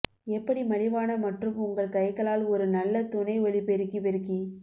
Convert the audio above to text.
எப்படி மலிவான மற்றும் உங்கள் கைகளால் ஒரு நல்ல துணை ஒலிபெருக்கி பெருக்கி